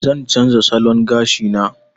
Zan canza salon gashina.